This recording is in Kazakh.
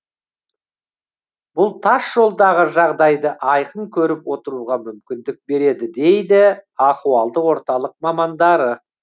бұл тас жолдағы жағдайды айқын көріп отыруға мүмкіндік береді дейді ахуалдық орталық мамандары